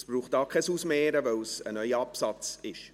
Es braucht hier kein Ausmehren, weil es ein neuer Absatz ist.